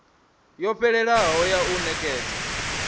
yo fhelelaho ya u nekedza